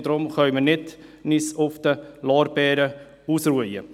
Deshalb können wir uns nicht auf unseren Lorbeeren ausruhen.